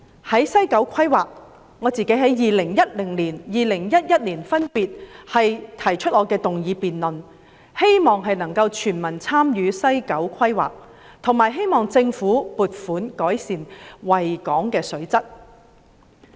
在西九規劃方面，我在2010年、2011年分別提出議案，希望全民參與西九規劃，以及希望政府撥款改善維港的水質。